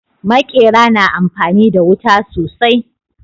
Maƙera na amfani da wuta sosai